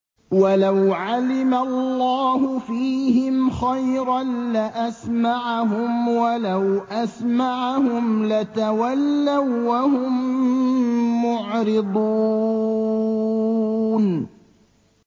وَلَوْ عَلِمَ اللَّهُ فِيهِمْ خَيْرًا لَّأَسْمَعَهُمْ ۖ وَلَوْ أَسْمَعَهُمْ لَتَوَلَّوا وَّهُم مُّعْرِضُونَ